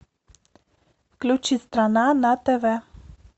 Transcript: включи страна на тв